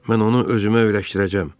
Mən onu özümə öyrəşdirəcəm.